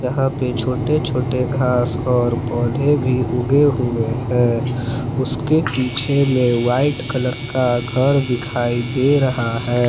यहां पे छोटे छोटे घास और पौधे भी उगे हुवे है उसके पीछे में वाइट कलर का घर दिखाई दे रहा है।